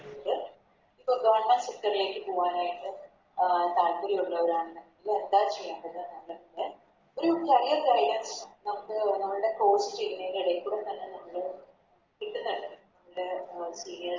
പ്പം Government sector ലേക്ക് പോകാനായിട്ട് അഹ് താൽപ്പര്യം ഉള്ളവരാണെന്നുണ്ടെ നമ്മൾടെ Course ചെയ്യുന്നെൻറെ എടെക്കൂടെ തന്നെ നമ്മള് കിട്ട്ന്നിണ്ട് അതിൻറെ അഹ്